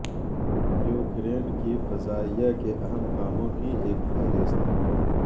Ukraine کی فضائیہ کے اہم کاموں کی ایک فہرست